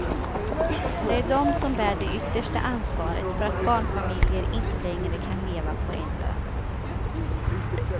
Det är de som bär det yttersta ansvaret för att barnfamiljer inte längre kan leva på en lön.